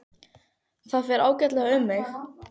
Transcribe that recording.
Og það fer ágætlega um mig.